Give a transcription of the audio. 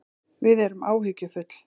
Við erum áhyggjufull